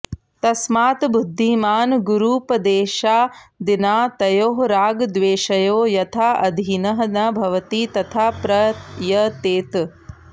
तस्मात् बुद्धिमान् गुरूपदेशादिना तयोः रागद्वेषयोः यथा अधीनः न भवति तथा प्रयतेत